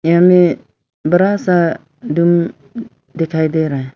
या में बड़ा सा रूम दिखाई दे रहा है।